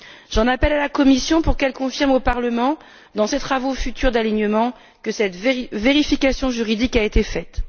J'en appelle à la Commission pour qu'elle confirme au Parlement, dans ses travaux futurs d'alignement, que cette vérification juridique a été faite.